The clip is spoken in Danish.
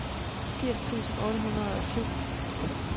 firs tusind otte hundrede og syv